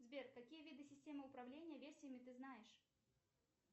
сбер какие виды системы управления версиями ты знаешь